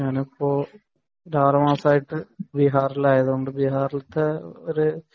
എപ്പോഴും രാവിലെ നാസ്ത ആയിട്ടു ബീഹാറിൽ ആയതുകൊണ്ട് ബീഹാറിലത്തെ ഒരു